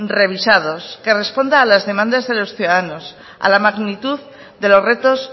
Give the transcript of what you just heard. revisados que responda a las demandas de los ciudadanos a la magnitud de los retos